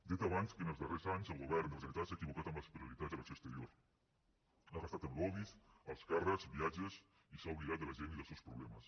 he dit abans que en els darrers anys el govern de la generalitat s’ha equivocat amb les prioritats de l’acció exterior ha gastat en lobbys alts càrrecs viatges i s’ha oblidat de la gent i dels seus problemes